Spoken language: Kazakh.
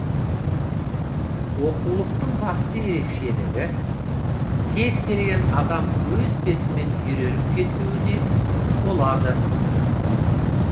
оқулықтың басты ерекшелігі кез келген адам өз бетімен үйреніп кетуіне болады